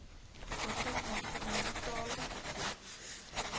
oortyd uniformtoelae vervoer